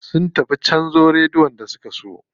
Sun tafi canza radiyon da suka siyo.